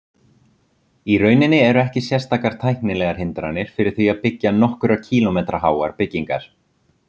Í rauninni eru ekki sérstakar tæknilegar hindranir fyrir því að byggja nokkurra kílómetra háar byggingar.